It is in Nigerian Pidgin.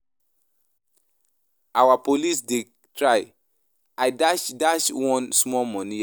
Our policemen dey try. I dash one small money yesterday.